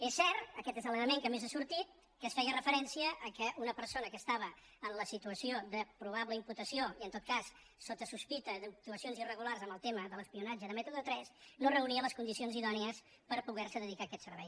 és cert aquest és l’element que més ha sortit que es feia referència al fet que una per·sona que estava en la situació de probable imputació i en tot cas sota sospita d’actuacions irregulars en el tema de l’espionatge de método tres no reunia les condi·cions idònies per poder·se dedicar a aquest servei